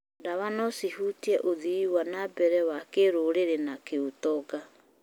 Ndawa no cihutie ũthii wa na mbere wa kĩrũrĩrĩ na kĩũtonga.